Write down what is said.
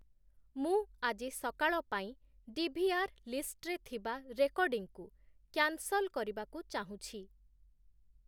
ମୁଁ ଆଜି ସକାଳ ପାଇଁ ଡି.ଭି.ଆର୍ ଲିଷ୍ଟ୍‌ରେ ଥିବା ରେକର୍ଡିଂକୁ କ୍ୟାନ୍‌ସଲ୍‌ କରିବାକୁ ଚାହୁଁଛି